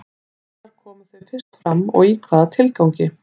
Hvenær komu þau fyrst fram og í hvaða tilgangi?